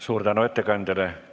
Suur tänu ettekandjale!